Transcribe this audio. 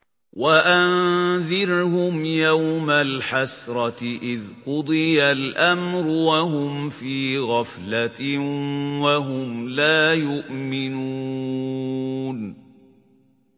وَأَنذِرْهُمْ يَوْمَ الْحَسْرَةِ إِذْ قُضِيَ الْأَمْرُ وَهُمْ فِي غَفْلَةٍ وَهُمْ لَا يُؤْمِنُونَ